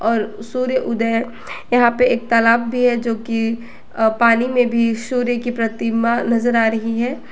और सूर्य उदय यहां पे एक तालाब भी है जो कि पानी में भी सूर्य की प्रतिमा नजर आ रही है।